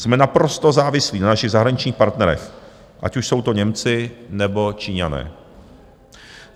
Jsme naprosto závislí na našich zahraničních partnerech, ať už jsou to Němci, nebo Číňané.